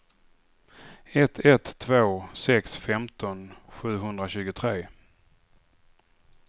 ett ett två sex femton sjuhundratjugotre